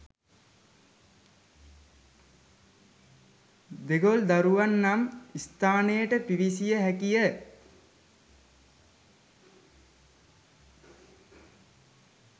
දෙගල්දොරුව නම් ස්ථානයට පිවිසිය හැකිය.